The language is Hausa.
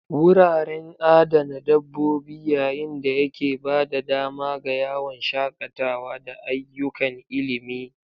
Wuraren adana dabbobi yayin da yake ba da dama ga yawon shakatawa da ayyukan ilimi.